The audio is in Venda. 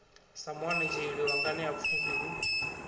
sa muanetsheli wa nganeapfhufhi hu